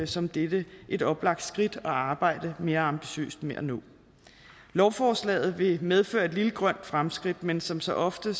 som dette et oplagt skridt at arbejde mere ambitiøst med at nå lovforslaget vil medføre et lille grønt fremskridt men som så ofte